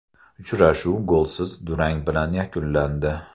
Uchrashuv golsiz durang bilan yakunlandi.